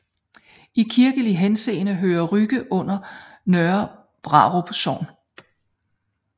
I kirkelig henseende hører Rygge under Nørre Brarup Sogn